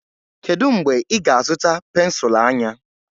Kedu mgbe ị ga-azụta pensụl anya?